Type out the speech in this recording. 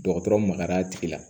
Dɔgɔtɔrɔ magara a tigi la